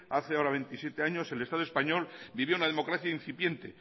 hace ahora veintisiete años el estado español vivía una democracia incipiente